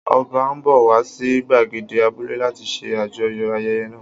Ọba ń bọ̀ wá sí gbàgede abúlé láti ṣe àjọyọ̀ ayẹyẹ náà